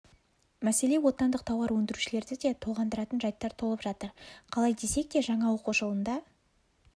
мәселе отандық тауар өндірушілерді де толғандыратын жайттар толып жатыр қалай десек те жаңа оқу жылында